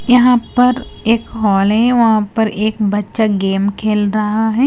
यहां पर एक हॉल है वहां पर एक बच्चा गेम खेल रहा है।